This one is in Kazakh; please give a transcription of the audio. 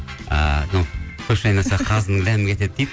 ыыы мынау көш айналса қазының дәмі кетеді дейді